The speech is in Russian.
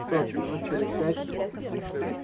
что ж минут через пять